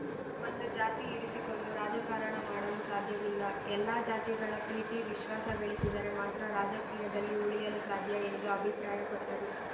ಒಂದು ಜಾತಿ ಇರಿಸಿಕೊಂಡು ರಾಜಕಾರಣ ಮಾಡಲು ಸಾಧ್ಯವಿಲ್ಲ ಎಲ್ಲ ಜಾತಿಗಳ ಪ್ರೀತಿ ವಿಶ್ವಾಸ ಗಳಿಸಿದರೆ ಮಾತ್ರ ರಾಜಕೀಯದಲ್ಲಿ ಉಳಿಯಲು ಸಾಧ್ಯ ಎಂದು ಅಭಿಪ್ರಾಯಪಟ್ಟರು